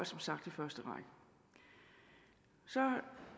som sagt i første række så